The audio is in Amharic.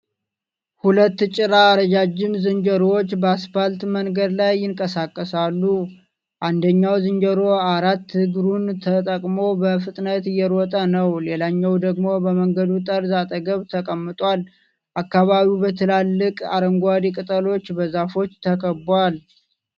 ሁለት ጭራ ረጃጅም ዝንጀሮዎች በአስፓልት መንገድ ላይ ይንቀሳቀሳሉ። አንደኛው ዝንጀሮ አራት እግሩን ተጠቅሞ በፍጥነት እየሮጠ ነው። ሌላኛው ደግሞ በመንገዱ ጠርዝ አጠገብ ተቀምጧል። አካባቢው በትላልቅ አረንጓዴ ቅጠሎች በዛፎች ተከቧል።